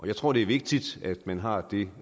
jeg tror det er vigtigt at man har det